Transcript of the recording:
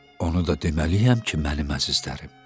Onu da deməliyəm ki, mənim əzizlərim.